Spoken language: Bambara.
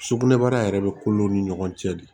Sugunɛbara yɛrɛ bɛ kolo ni ɲɔgɔn cɛ de